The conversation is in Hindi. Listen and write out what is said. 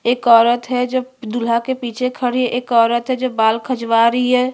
एक औरत है जो दूल्हा के पीछे खड़ी है एक औरत है जो बाल खजवां रही है।